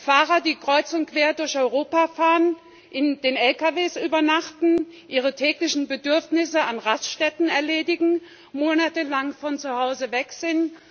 Fahrer, die kreuz und quer durch Europa fahren, in den Lkws übernachten, ihre täglichen Bedürfnisse an Raststätten erledigen, monatelang von zuhause weg sind.